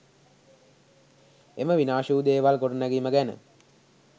එම විනාශ වූ දේවල් ගොඩනැගීම ගැන